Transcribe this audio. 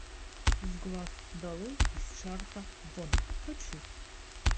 с глаз долой из чарта вон хочу